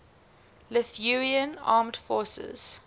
lithuanian armed forces